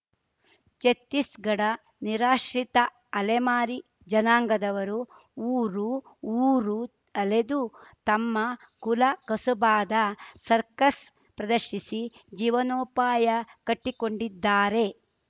ಛತ್ತೀಸ್‌ಘಡ ನಿರಾಶ್ರಿತ ಅಲೆಮಾರಿ ಜನಾಂಗದವರು ಊರು ಊರು ಅಲೆದು ತಮ್ಮ ಕುಲ ಕಸುಬಾದ ಸರ್ಕಸ್‌ ಪ್ರದರ್ಶಿಸಿ ಜೀವನೋಪಾಯ ಕಟ್ಟಿಕೊಂಡ್ಡಿದ್ದಾರೆ